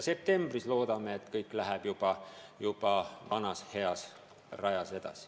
Septembris, loodame, ehk läheb kõik juba mööda vana head rada edasi.